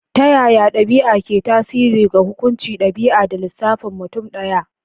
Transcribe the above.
Ta yaya ɗabi'a ke tasiri ga hukuncin ɗabi'a da lissafin mutum ɗaya?